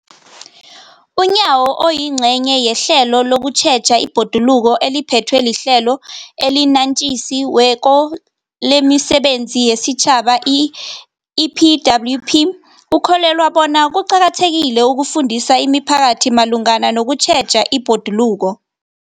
UNyawo, oyingcenye yehlelo lokutjheja ibhoduluko eliphethwe liHlelo eliNatjisi weko lemiSebenzi yesiTjhaba, i-EPWP, ukholelwa bona kuqakathekile ukufundisa imiphakathi malungana nokutjheja ibhoduluko.